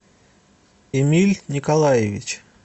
эмиль николаевич